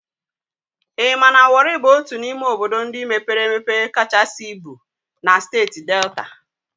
I ma na Wọri bụ otu n'ime obodo ndị mepere emepe kachasị ibu na Steeti Delta?